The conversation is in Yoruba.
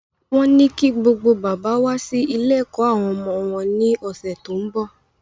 Wọ́n ní kí gbogbo bàbá wá sí ilé-ẹ̀kọ́ àwọn ọmọ wọn ní ọ̀sẹ̀ tó ń bọ̀.